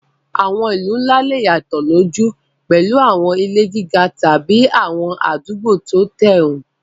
Àwọn ìlú ńlá lè yàtọ̀ lójú, pẹ̀lú àwọn ilé gíga tàbí àwọn àdúgbò tí ó tẹ́rùn.